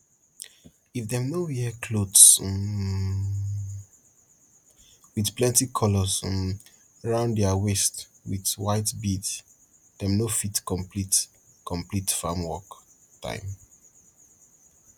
if dem no wear clothes um with plenty colors um round their waist with white beads dem no fit complete complete farm work time